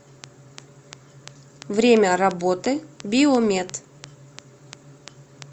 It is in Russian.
время работы биомед